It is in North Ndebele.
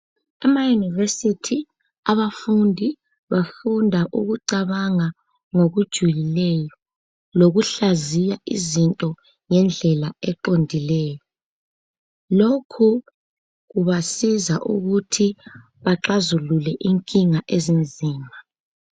Amayinivesithi abafundi bafunda ukucabanga ngokujulileyo lokuhlaziya izinto ngendlela eqondileyo. Lokhu kubasiza ukuthi baxazulule inkinga ezinzima.